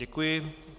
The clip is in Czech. Děkuji.